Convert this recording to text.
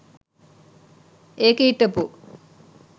ඒකෙ හිටපු .